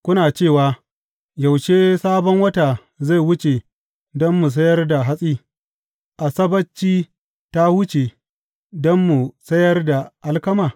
Kuna cewa, Yaushe Sabon Wata zai wuce don mu sayar da hatsi, Asabbaci ta wuce, don mu sayar da alkama?